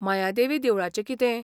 मायादेवी देवळाचें कितें?